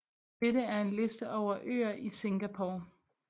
Dette er en liste over øer i Singapore